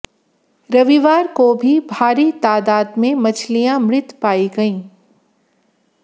रविवार को भी भारी तादाद में मछलियां मृत पाई गईं